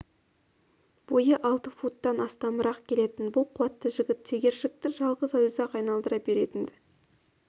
бойы алты футтан астамырақ келетін бұл қуатты жігіт тегершікті жалғыз өзі-ақ айналдыра беретін-ді